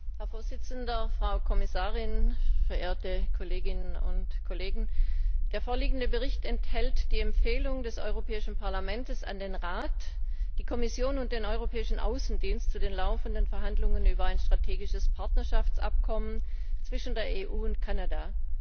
Herr Präsident, Frau Kommissarin, verehrte Kolleginnen und Kollegen! Der vorliegende Bericht enthält die Empfehlung des Europäischen Parlaments an den Rat, die Kommission und den Europäischen Auswärtigen Dienst zu den laufenden Verhandlungen über ein strategisches Partnerschaftsabkommen zwischen der EU und Kanada.